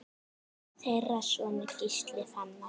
Þeirra sonur er Gísli Fannar.